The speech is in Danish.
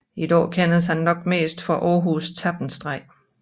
I dag kendes ham nok mest for Århus Tappenstreg